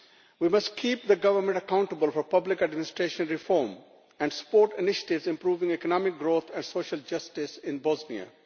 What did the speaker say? We must keep the government accountable for public administration reform and support initiatives improving economic growth and social justice in Bosnia.